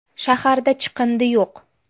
Shaharda chiqindi yo‘q.